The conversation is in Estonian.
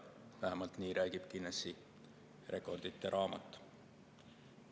Nii vähemalt räägib Guinnessi rekordite raamat.